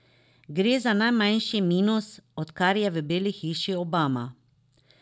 Gre za najmanjši minus, odkar je v Beli hiši Obama.